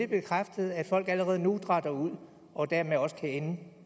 bekræftet at folk allerede nu dratter ud og dermed også kan ende